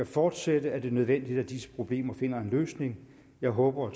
fortsætte er det nødvendigt at disse problemer finder en løsning jeg håber og